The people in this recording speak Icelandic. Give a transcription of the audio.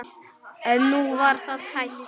En nú var það hætt.